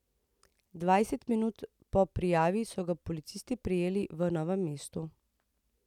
Dvajset minut po prijavi so ga policisti prijeli v Novem mestu.